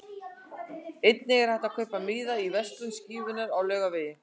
Einnig er hægt að kaupa miða í verslun Skífunnar á Laugavegi.